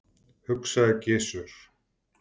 hugsaði Gizur.